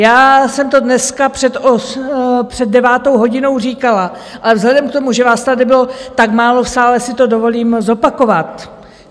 Já jsem to dneska před devátou hodinou říkala, ale vzhledem k tomu, že vás tady bylo tak málo v sále, si to dovolím zopakovat.